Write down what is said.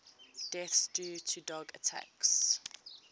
deaths due to dog attacks